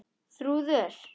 Þrúður